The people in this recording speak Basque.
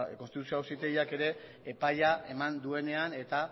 konstituzio auzitegiak ere epaia eman duenean eta